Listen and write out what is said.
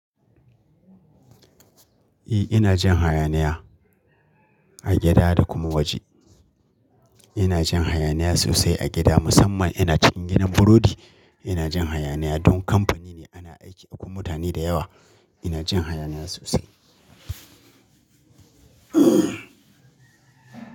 Eh ina jin hayaniya a gida da kuma waje. Ina jin hayaniya sosai a gida musamman ina cikin gidan burodi ina jin hayaniya don kamfani ne ana aiki akwai mutane da yawa. Ina jin hayaniya sosai.